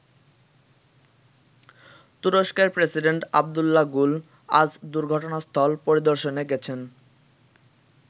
তুরস্কের president Abdullah Gul আজ দুর্ঘটনাস্থল পরিদর্শনে গেছেন।